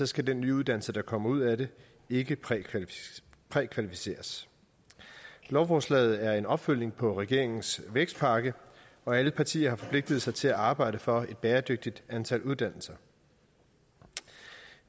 skal den nye uddannelse der kommer ud af det ikke prækvalificeres prækvalificeres lovforslaget er en opfølgning på regeringens vækstpakke og alle partier har forpligtet sig til at arbejde for et bæredygtigt antal uddannelser